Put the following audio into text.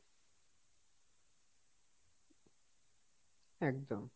একদম,